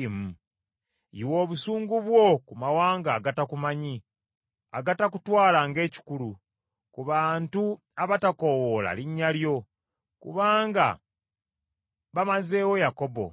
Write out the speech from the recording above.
Yiwa obusungu bwo ku mawanga agatakumanyi, agatakutwala ng’ekikulu, ku bantu abatakoowoola linnya lyo. Kubanga bamazeewo Yakobo,